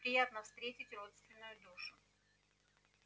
приятно встретить родственную душу